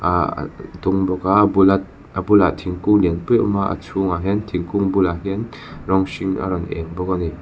aah ah a dum bawk a bulat a bulah thingkung lianpui a awm a a chhungah hian thingkung bulah hian rawng hring a rawn êng bawk a ni.